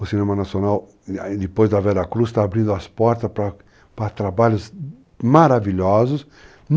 O cinema nacional, depois da Veracruz, está abrindo as portas para trabalhos maravilhosos.